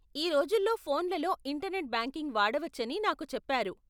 ఈ రోజుల్లో ఫోన్లలో ఇంటర్నెట్ బ్యాంకింగ్ వాడవచ్చని నాకు చెప్పారు.